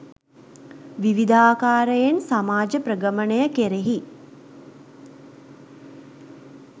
විවිධාකාරයෙන් සමාජ ප්‍රගමනය කෙරෙහි